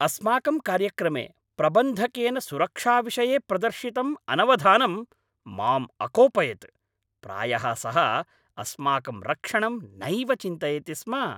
अस्माकं कार्यक्रमे प्रबन्धकेन सुरक्षाविषये प्रदर्शितम् अनवधानम् माम् अकोपयत्। प्रायः सः अस्माकं रक्षणं नैव चिन्तयति स्म!